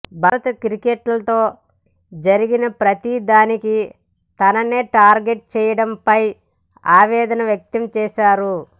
భారత క్రికెట్లో జరిగిన ప్రతీ దానికి తననే టార్గెట్ చేయడంపై ఆవేదన వ్యక్తం చేశారు